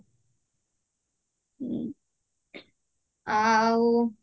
ଆଉ